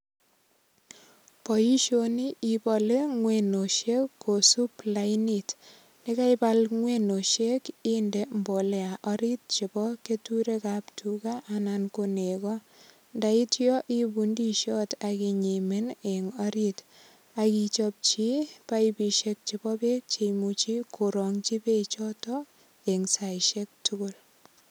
Boisyoni ibale ngwenosyek kosub lainit ,yekaibal ngwenosyek inde mbolea arit chebo keturekab tuka anan ko neko ,ndaityo iibu ndisyot akinyimin eng orit, akichapchi baibisyek chebo bek, cheimuchi korangyi bek choton eng saisyek tukul.